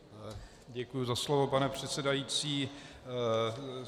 Děkuji za slovo, pane předsedající.